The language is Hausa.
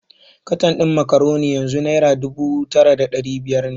Katan din Macaroni yanzu Naira dubu tara da dari biyar ne.